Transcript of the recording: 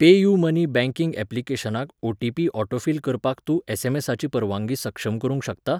PayUmoney banking ऍप्लिकेशनाक OTP autofill करपाक तूं एसएमएसाची परवानगी सक्षम करूंक शकता?